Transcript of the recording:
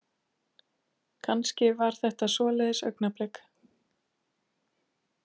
Kannski var þetta svoleiðis augnablik.